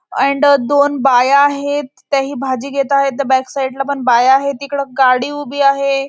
And दोन बाया आहेत त्याही भाजी घेता आहेत. त्या बॅक साईड ला पण बाया आहे. तिकडे गाडी उभी आहे.